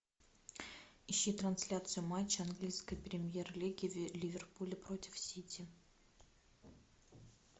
ищи трансляцию матча английской премьер лиги ливерпуль против сити